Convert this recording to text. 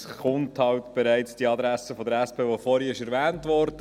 Nun kommt halt bereits die Antwort der SP, die vorhin erwähnt wurde.